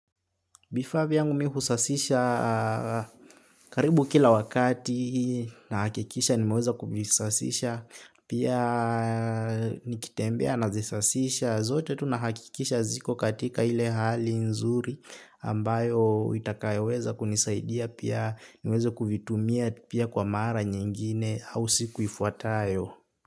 Vifaa vyangu mi husasisha karibu kila wakati nahakikisha nimeweza kuvisasisha. Pia nikitembea nazisasisha zote tu nahakikisha ziko katika ile hali nzuri. Ambayo itakayoweza kunisaidia pia niweze kuvitumia pia kwa mara nyingine au siku ifuatayo.